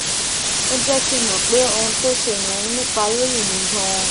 ó jé kí n mò pé ohun tó ṣe yẹn nípa lórí mi ganan